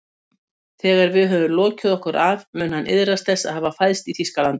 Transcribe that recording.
Þegar við höfum lokið okkur af mun hann iðrast þess að hafa fæðst í Þýskalandi